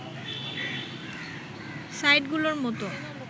site গুলোর মতো